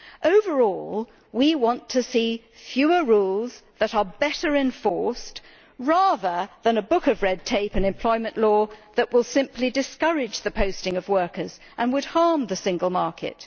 Overall, we want to see fewer rules that are better enforced, rather than a book of red tape and employment law that would simply discourage the posting of workers and would harm the single market.